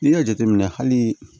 N'i y'a jateminɛ hali